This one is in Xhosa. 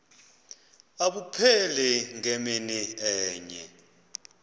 abupheli ngemini enye